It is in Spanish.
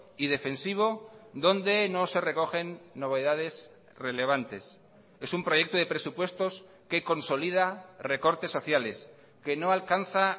y defensivo donde no se recogen novedades relevantes es un proyecto de presupuestos que consolida recortes sociales que no alcanza